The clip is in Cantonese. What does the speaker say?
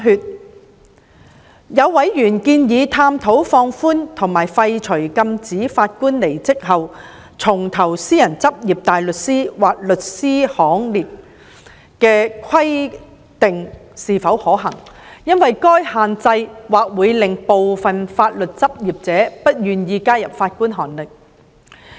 也有委員建議探討放寬或廢除禁止法官離職後重投私人執業大律師或律師行列的規定是否可行，因為該限制或會令部分法律執業者不願意加入法官行列。